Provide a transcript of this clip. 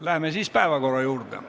Läheme päevakorra juurde.